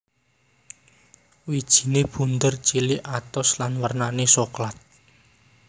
Wijine bunder cilik atos lan wernane soklat